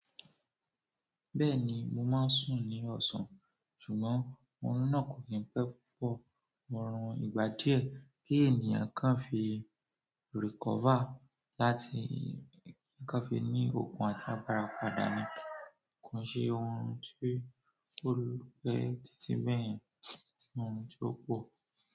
Bẹ́ẹ̀ni mo máa ń sùn ní ọ̀sán ṣùgbọ́n òórùn náà kò ki n pé púpọ̀ òórùn ìgbà díẹ̀ kí ènìyàn kan fi recover láti kí kan fi ní okun àti agbára padà ni. Ko i ṣe ohun tí ó lú pẹ́ títí bẹ́yen, ko se ohun tí ó pò.